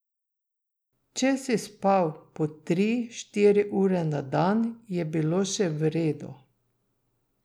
Če si spal po tri, štiri ure na dan, je bilo še v redu.